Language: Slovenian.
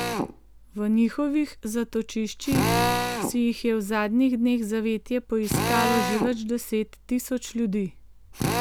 V njihovih zatočiščih si jih je v zadnjih dneh zavetje poiskalo že več deset tisoč ljudi.